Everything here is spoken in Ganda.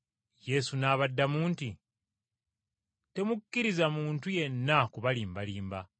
Yesu n’abaddamu nti, “Temukkirizanga muntu yenna kubalimbalimba.